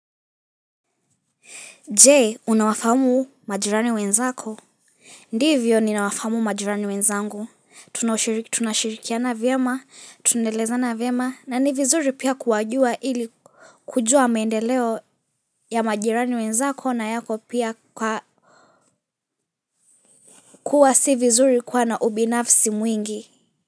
Je, unawafamu majirani wenzako? Ndivyo ninawafamu majirani wenzangu. Tunashirikiana vyema, tunaelezana vyema, na ni vizuri pia kuwajua ili kujua maendeleo ya majirani wenzako na yako pia kuwa si vizuri kuwa na ubinafsi mwingi.